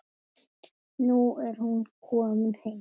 Nú er hún komin heim.